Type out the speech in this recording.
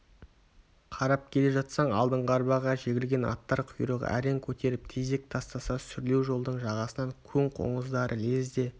қарап келе жатсаң алдыңғы арбаға жегілген аттар құйрығын әрең көтеріп тезек тастаса сүрлеу жолдың жағасынан көң қоңыздары лезде